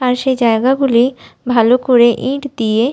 আর সেই জায়গাগুলি ভালো করে ইট দিয়ে --